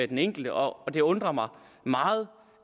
den enkelte og det undrer mig meget